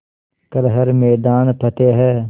कर हर मैदान फ़तेह